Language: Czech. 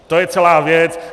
To je celá věc.